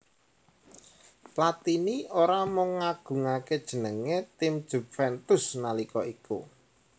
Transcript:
Platini ora mung ngagungaké jenengé tim Juventus nalika iku